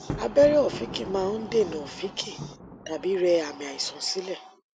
abẹrẹ ọfìnkì máa ń dènà ọfìnkì tàbí rẹ àmì àìsàn sílẹ